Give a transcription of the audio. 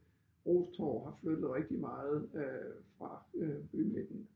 RO's Torv har flyttet rigtig meget øh fra øh bymidten